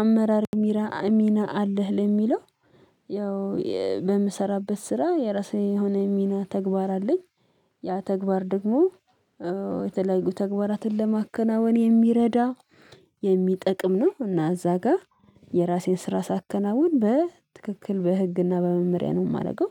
አመራር ሚና አለህ ለሚለው ያው በምሰራበት ስራ የራሱ የሆነ ሚና ተግባር አለኝ ያ ተግባር ደግሞ የተለያዩ ተግባራትን ለማከናወን የሚረዳ የሚጠቅም ነው እና እዛ ጋር የራሴን ስራ ሳያከናውን በትክክል በህግና በመመሪያ ነው የማደርገው